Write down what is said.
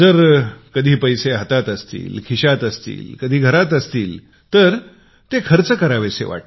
कधी पैसे हाताशी असतात खिशात असतात तर खर्च करावेसे वाटतात